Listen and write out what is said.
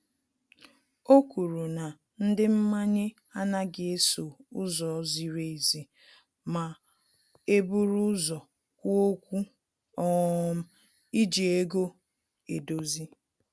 O kwuru na ndị mmanye anaghị eso ụzọ ziri ezi ma e buru ụzọ kwuo okwu um iji ego edozi